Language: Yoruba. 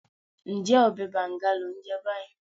Ǹjẹ́ ọbẹ̀ bàǹga lò ń jẹ báyìí?